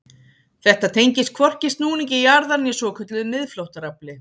Þetta tengist hvorki snúningi jarðar né svokölluðu miðflóttaafli.